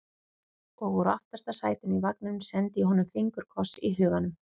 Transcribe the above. Og úr aftasta sætinu í vagninum sendi ég honum fingurkoss í huganum.